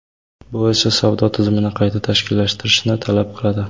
Bu esa savdo tizimini qayta tashkillashtirishni talab qiladi.